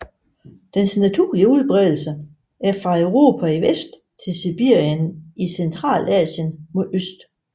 Dens naturlige udbredelse er fra Europa i vest til Sibirien i Centralasien mod øst